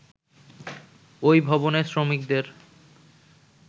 ঐ ভবনের শ্রমিকদের